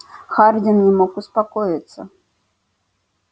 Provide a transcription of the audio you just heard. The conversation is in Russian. хардин не мог успокоиться